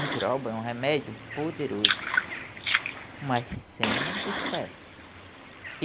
Andiroba é um remédio poderoso, mas sem excesso.